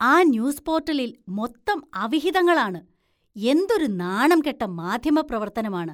ആ ന്യൂസ് പോര്‍ട്ടലില്‍ മൊത്തം അവിഹിതങ്ങളാണ്, എന്തൊരു നാണംകെട്ട മാധ്യമപ്രവര്‍ത്തനമാണ്.